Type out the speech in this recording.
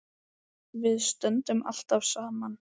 Við stöndum alltaf saman